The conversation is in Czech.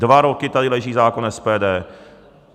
Dva roky tady leží zákon SPD.